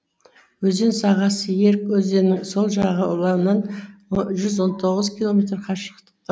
өзен сағасы ерг өзенінің сол жағалауынан жүз он тоғыз километр қашықтықта